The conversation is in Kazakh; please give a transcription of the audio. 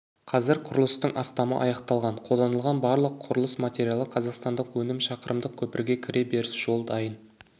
қазір құрылыстың астамы аяқталған қолданылған барлық құрылыс материалы қазақстандық өнім шақырымдық көпірге кіре беріс жол дайын